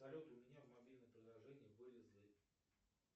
салют у меня в мобильном приложении вылезли